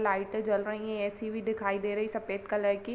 लाइटें जल रही हैं। ए_सी भी दिखाई दे रही है सफ़ेद कलर की।